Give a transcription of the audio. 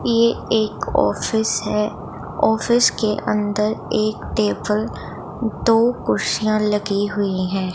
ये एक ऑफिस है ऑफिस के अंदर एक टेबल दो कुर्शिया लगी हुईं हैं।